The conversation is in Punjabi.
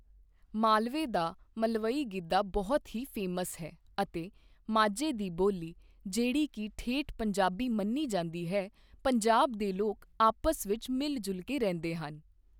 ਮਾਲਵੇ ਦਾ ਮਲਵਈ ਗਿੱਧਾ ਬਹੁਤ ਹੀ ਫੇਮਸ ਹੈ ਅਤੇ ਮਾਝੇ ਦੀ ਬੋਲੀ ਜਿਹੜੀ ਕਿ ਠੇਠ ਪੰਜਾਬੀ ਮੰਨੀ ਜਾਂਦੀ ਹੈ ਪੰਜਾਬ ਦੇ ਲੋਕ ਆਪਸ ਵਿੱਚ ਮਿਲ ਜੁਲ ਕੇ ਰਹਿੰਦੇ ਹੈ।